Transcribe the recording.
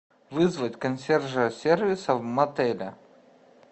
вызвать консьержа сервиса в мотеле